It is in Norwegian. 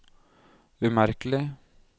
umerkelig